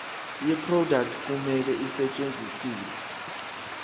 yeproduct kumele isetshenziswe